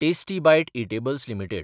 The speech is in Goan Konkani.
tasty bite edibles limited